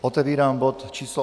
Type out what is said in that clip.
Otevírám bod číslo